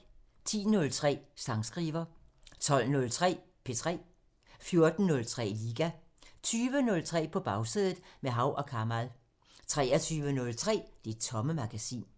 10:03: Sangskriver 12:03: P3 14:03: Liga 20:03: På Bagsædet – med Hav & Kamal 23:03: Det Tomme Magasin